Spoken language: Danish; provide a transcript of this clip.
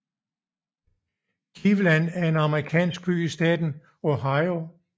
Cleveland er en amerikansk by i staten Ohio